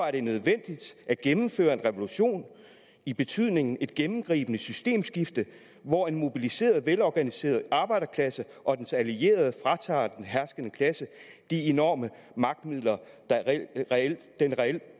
er det nødvendigt at gennemføre en revolution i betydningen et gennemgribende systemskifte hvor en mobiliseret og velorganiseret arbejderklasse og dens allierede fratager den herskende klasse de enorme magtmidler den reelt